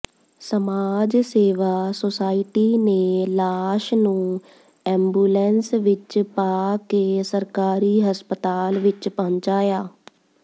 ਸਮਾਜ ਸੇਵਾ ਸੋਸਾਇਟੀ ਨੇ ਲਾਸ਼ ਨੂੰ ਐਮਬੂਲੈਂਸ ਵਿਚ ਪਾ ਕੇ ਸਰਕਾਰੀ ਹਸਪਤਾਲ ਵਿਚ ਪਹੁੰਚਾਇਆ